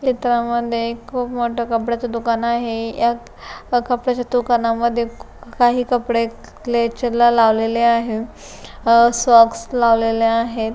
चित्रामध्ये एक खुब मोठ कपड्याच दुकान आहे यात कपड्याच्या दुकानामद्धे काही कपडे क्लेचर ला लावलेले आहे सॉक्स लावलेले आहेत.